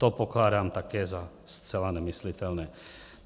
To pokládám také za zcela nemyslitelné.